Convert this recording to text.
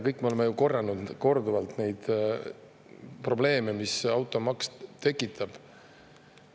Kõik me oleme korduvalt välja toonud probleeme, mida automaks tekitab.